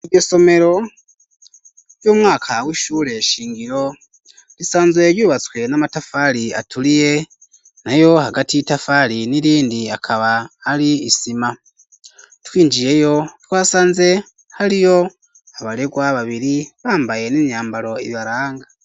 Isomero, ryumwaka wishure shingiro ,risanzwe yubatswe namatafari aturiye ,nayo hagati itafari n'irindi akaba ari isima, twinjiyeyo twasanze hariyo abaregwa babiri ,bambaye n'inyambaro ibaranga.